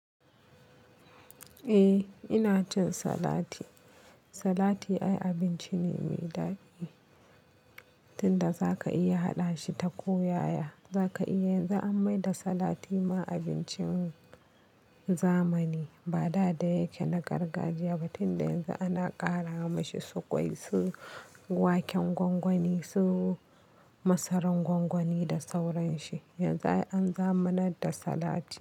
Eh ina cin salati. Salati ai abinci ne mai daɗi, tunda zaka iya haɗa shi ta ko yaya. Zaka iya, yanzu an maida salati ma abincin zamani. Ba da da yake na gargajiya ba, tunda yanzu ana ƙara mashi su ƙwai, su waken gwangwani, su masaran gwangwani da sauransu. Yanzu ai an zamanar da salati.